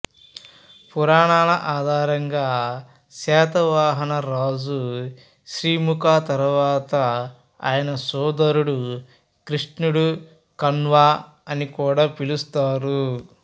పురాణాల ఆధారంగా శాతవాహన రాజు సిముకా తరువాత ఆయన సోదరుడు కృష్ణుడు కన్హా అని కూడా పిలుస్తారు